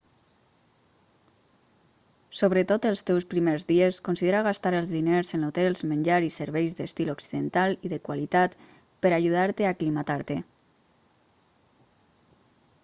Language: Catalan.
sobretot els teus primers dies considera gastar els diners en hotels menjar i serveis d'estil occidental i de qualitat per a ajudar-te a aclimatar-te